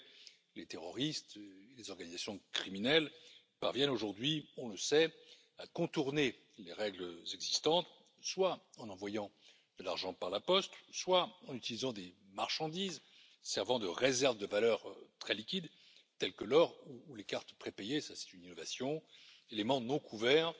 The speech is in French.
En effet, les terroristes et les organisations criminelles parviennent aujourd'hui, on le sait, à contourner les règles existantes, soit en envoyant de l'argent par la poste, soit en utilisant des marchandises servant de réserve de valeurs très liquides, telles que l'or ou les cartes prépayées c'est une innovation éléments non couverts